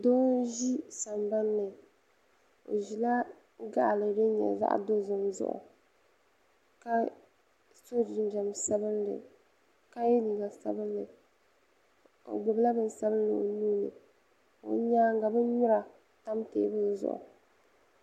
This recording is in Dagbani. do n ʒɛ sambani o ʒɛla gali di. nyɛ zaɣ'dozim zuɣ' ka so jijam sabinli ka yɛ liga sabinli o gbala bɛnsabinli o nuuni o nyɛŋa bi.nuri tam tɛbuli zuɣ'